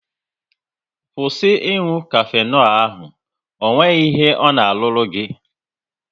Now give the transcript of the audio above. Kwụsị ị nụ kafenol ahụ! Ọ nweghị ihe ọ na-arụru gị